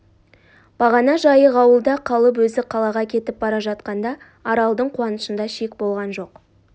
бағана жайық ауылда қалып өзі қалаға кетіп бара жатқанда аралдың қуанышында шек болған жоқ